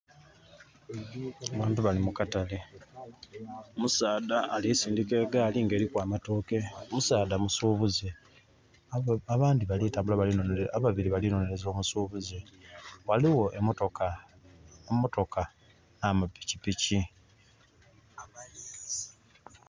Abantu bali mu katale. Musaadha ali sindika egaali nga eriku amatooke. Musaadha musubuze. Abandi bali tambula, ababiri bali nonereza omusubuze. Waliwo emotoka, emotoka na mapikipiki